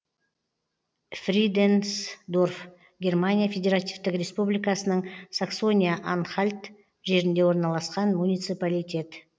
фриденсдорф германия федеративтік республикасының саксония анхальт жерінде орналасқан муниципалитет